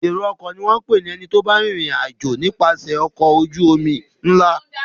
Èrò-ọkọ̀ ni wọ́n ń pè ẹni tó bá ń rìnrìn-àjò nipase ọkọ̀ ojú-omi ńlá.